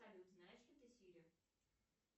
салют знаешь ли ты сири